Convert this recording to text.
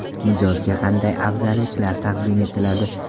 Mijozga qanday afzalliklar taqdim etiladi?